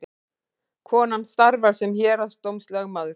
Konan starfar sem héraðsdómslögmaður